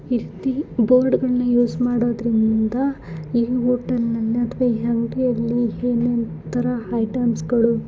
ವ್ಯಕ್ತಿ ಬೋರ್ಡ್ ಗಳ್ಳನ ಉಸ್ ಮಾಡೋದ್ರಿಂದ ಈ ಹೋಟೆಲ್ ಅನ್ನು ಅಥವಾ ಎಂಪಿ ಆಲ್ಲಿ ಹ್ಯೂಮನ್ ಗಳ ಐಟೆಮ್ಸಗಳು --